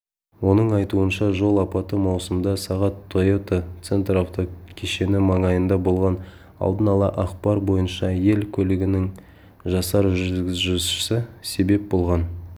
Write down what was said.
оның айтуынша жол апаты маусымда сағат тойота центр автокешені маңайында болған алдын-ала ақпар бойынша ель көлігінің жасар жүргізушісі себеп болған